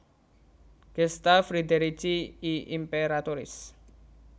Gesta Friderici I Imperatoris